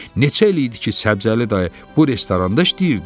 Neçə il idi ki Səbzəli dayı bu restoranda işləyirdi?